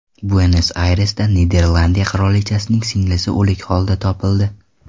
Buenos-Ayresda Niderlandiya qirolichasining singlisi o‘lik holda topildi.